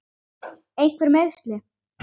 Einhver meiðsli?